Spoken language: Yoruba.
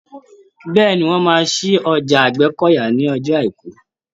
Bẹ́ẹ̀ni, wọn máa ṣí ọjà Àgbẹ́kọ̀yà ní ọjọ́ àìkú.